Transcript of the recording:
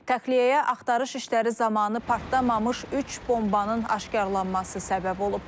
Təxliyəyə axtarış işləri zamanı partlamamış üç bombanın aşkarlanması səbəb olub.